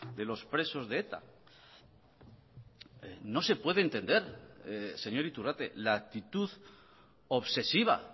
de los presos de eta no se puede entender señor iturrate la actitud obsesiva